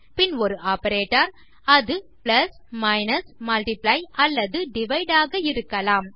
பின் ஒரு ஆப்பரேட்டர் அது plus minus multiply அல்லது டிவைடு ஆக இருக்கலாம்